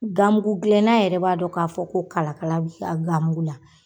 Ganmugu gilɛnna yɛrɛ b'a dɔn k'a fɔ ko kalakala b'i ka ganmugu la.